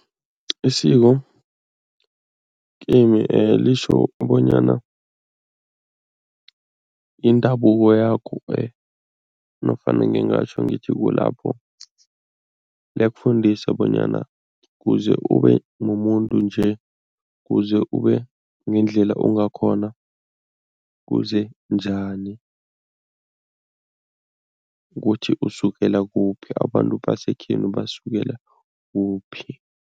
Isiko kimi litjho bonyana indabuko yakho nofana ngingatjho ngithi kulapho liyakufundisa bonyana kuze ube mumuntu nje, kuze ube ngendlela ungakhona kuzenjani? Ukuthi usukela kuphi, abantu basekhenu basukela kuphi.